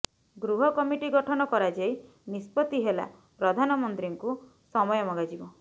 ଗୃହ କମିଟି ଗଠନ କରାଯାଇ ନିଷ୍ପତ୍ତି ହେଲା ପ୍ରଧାନମନ୍ତ୍ରୀଙ୍କୁ ସମୟ ମଗାଯିବ